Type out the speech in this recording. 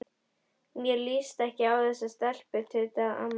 Mér líst ekkert á þessa stelpu tautaði amman.